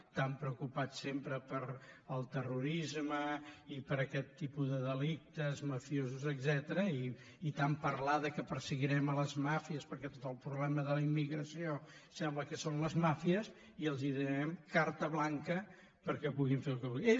tan preocupats sempre pel terrorisme i per aquest tipus de delictes mafiosos etcètera i tant parlar que perseguirem les màfies perquè tot el problema de la immigració sembla que són les màfies i els donem carta blanca perquè puguin fer el que vulguin